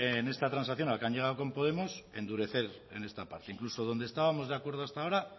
en esta transacción a la que han llegado con podemos endurecer en esta parte incluso donde estábamos de acuerdo hasta ahora